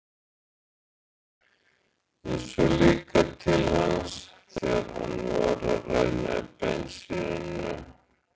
Ég sá líka til hans þegar hann var að ræna bensíninu.